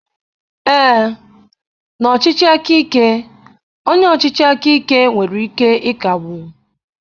Ee, na ọchịchị aka ike, onye ọchịchị aka ike nwere ike ịkagbu